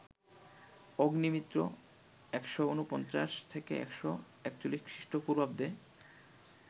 অগ্নিমিত্র ১৪৯-১৪১ খ্রীষ্ট পূর্বাব্দে